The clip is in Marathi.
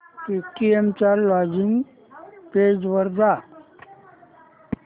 पेटीएम च्या लॉगिन पेज वर जा